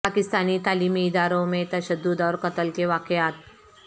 پاکستانی تعلیمی اداروں میں تشدد اور قتل کے واقعات